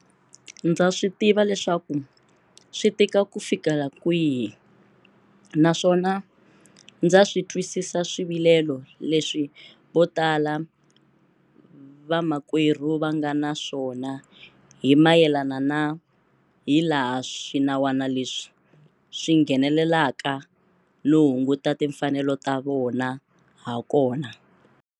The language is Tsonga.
Ndza swi tiva leswaku swi tika ku fikela kwihi, naswona ndza swi twisisa swivilelo leswi votala vamakwerhu va nga na swona hi mayelana na hilaha swinawana leswi swi nghenelelaka no hunguta timfanelo ta vona hakona.